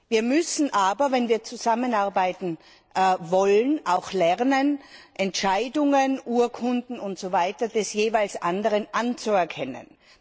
Wir müssen aber, wenn wir zusammenarbeiten wollen, auch lernen, Entscheidungen, Urkunden usw. des jeweils anderen anzuerkennen.